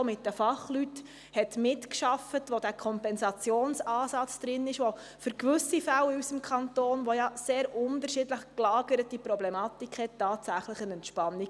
Der Revisionsentwurf enthält diesen Kompensationsansatz, der für gewisse Fälle in unserem Kanton, der ja eine sehr unterschiedlich gelagerte Problematik aufweist, tatsächlich eine Entspannung brächte.